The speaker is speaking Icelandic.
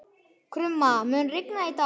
Krumma, mun rigna í dag?